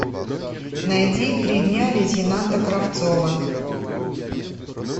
найди три дня лейтенанта кравцова